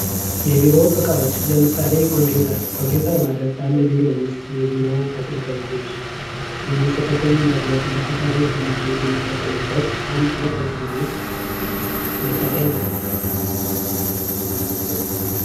የቢሮ እቃዎች ለምሳሌ ኮምፒውተር ፦ ኮምፒውተር ማለት በአንድ የቢሮ ተገልጋዮች ውስጥ የሚጽፉትን ነገር ዲጅታላይዝድ ለማድረግ የሚጠቀሙት አንድ የኤሌክትሮኒክስ መሣሪያ ነው ።